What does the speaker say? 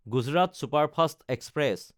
Gujarat superfast express